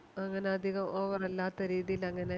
അങ്ങനെ അതികം Over അല്ലാത്ത രീതിയില് അങ്ങനെ